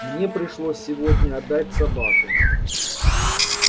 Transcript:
мне пришлось сегодня отдать собаку